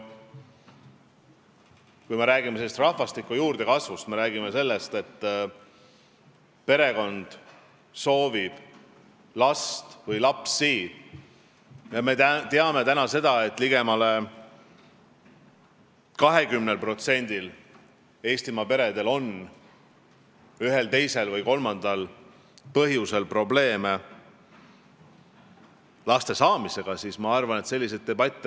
Kui me räägime rahvastiku juurdekasvust ja sellest, et perekonnad soovivad last või lapsi, siis me teame seda, et ligemale 20%-l Eestimaa peredel on ühel, teisel või kolmandal põhjusel probleeme laste saamisega.